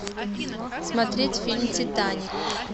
смотреть фильм титаник